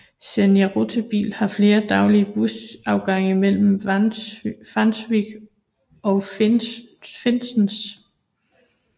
Senja Rutebil har flere daglige bussafgange mellem Vangsvik og Finnsnes